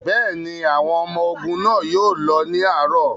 Bẹ́ẹ̀ ni, àwọn ọmọ ogun náà yóò lọ ní àárọ̀.